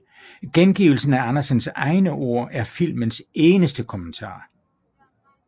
Gengivelsen af Andersens egne ord er filmens eneste kommentar